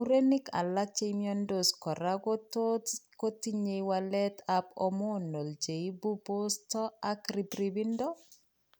Murenik alak chemiondos kora kotot kotinye waleet ab hormonal cheibu posto ak ribribindo